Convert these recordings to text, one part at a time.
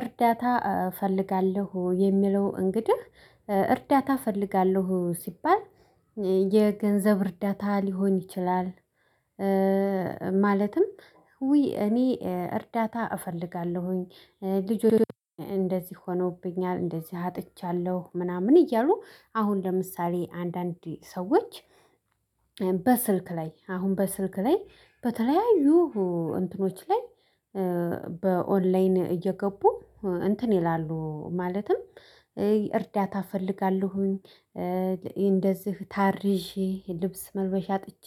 እርዳታ እፈልጋለሁ የሚለው እንግዲህ እርዳታ እፈልጋለሁ ሲባል የገንዘብ እርዳታ ሊሆን ይችላል። ማለትም እኔ እርዳታ እፈልጋለሁኝ ልጅ እንደዚህ ሆኖብኛል እንደዚህ አጥቻለሁ ምናምን እያሉ አሁን ለምሳሌ አንዳንድ ሰዎች። በስልክ ላይ አሁን በስልክ ላይ በተለያዩ እንትኖች ላይ በኦላይን እየገቡ እንትን ይላሉ ማለትም እርዳታ እፈልጋለሁኝ። እንደዚህ ታርዤ ልብስ መልበሻ አጥቼ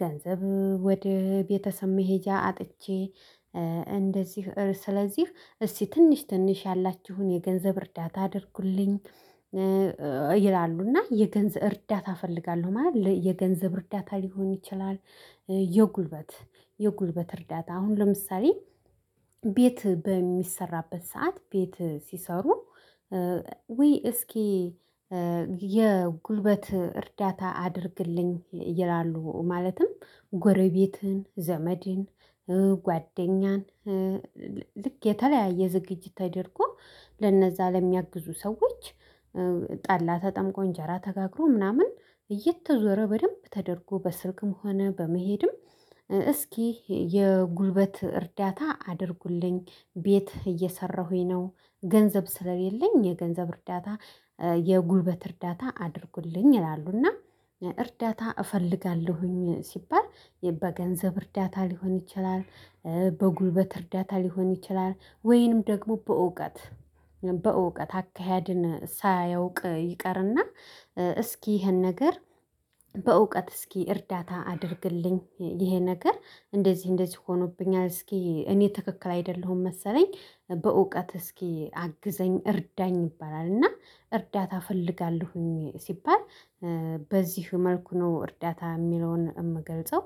ገንዘብ ወደ ቤተሰብ መሄጃ አጥቼ እንደዚህ ስለዚህ እስቲ ትንሽ ትንሽ ያላችሁን የገንዘብ እርዳታ አድርጉልኝ። ይላሉ እና የገንዘብ እርዳታ እፈልጋለሁ ማለት የገንዘብ እርዳታ ሊሆን ይችላል። የጉልበት የጉልበት እርዳታ አሁን ለምሳሌ ቤት በሚሰራበት ሰዓት ቤት ሲሰሩ ዉይ እስኪ የጉልበት እርዳታ አድርግልኝ ይላሉ። ማለትም ጎረቤትን ዘመድን ጓደኛን ልክ የተለያየ ዝግጅት ተደርጎ ለነዛ ለሚያግዙ ሰዎች። ጠላ ተጠምቆ እንጀራ ተጋግሮ ምናምን እየተዞረ በደንብ ተደርጎ በስልክም ሆነ በመሄድም እስኪ የጉልበት እርዳታ አድርጉልኝ ቤት እየሰራሁኝ ነው። ገንዘብ ስለሌለኝ የገንዘብ እርዳታ የጉልበት እርዳታ አድርጉልኝ ይላሉና። እርዳታ እፈልጋለሁኝ ሲባል በገንዘብ እርዳታ ሊሆን ይችላል። በጉልበት እርዳታ ሊሆን ይችላል ወይንም ደግሞ በእውቀት በእውቀት አካሄድን ሳያውቅ ይቀርና። እስኪ ይሄን ነገር በእውቀት እስኪ እርዳታ አድርግልኝ ይሄ ነገር እንደዚህ እንደዚህ ሆኖብኛል እስኪ እኔ ትክክል አይደለሁም መሰለኝ። በእውቀት እስኪ አግዘኝ እርዳኝ ይባላል። እና እርዳታ እፈልጋለሁኝ ሲባል በዚህ መልኩ ነው እርዳታ የሚለውን የምገልጸው